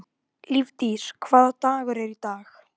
Lífdís, hvaða dagur er í dag?